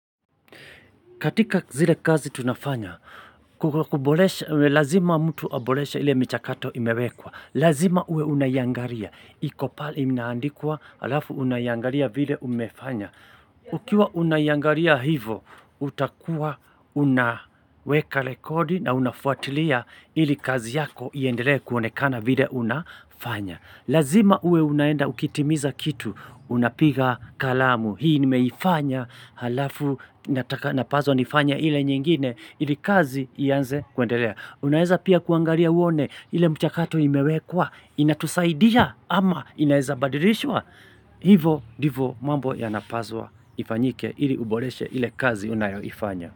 Katika zile kazi tunafanya, kuboresha, lazima mtu aboreshe ile michakato imewekwa. Lazima uwe unaiangalia. Iko pahali imeandikwa, alafu unaiangalia vile umefanya. Ukiwa unaiangalia hivo, utakuwa unaweka rekodi na unafuatilia ili kazi yako iendelee kuonekana vile unafanya. Lazima uwe unaenda ukitimiza kitu, unapiga kalamu. Hii nimeifanya halafu napaswa nifanye ile nyingine ili kazi ianze kuendelea. Unaeza pia kuangalia uone ile mchakato imewekwa inatusaidia ama inaeza badilishwa? Hivo ndivo mambo yanapaswa ifanyike ili uboreshe ile kazi unayoifanya.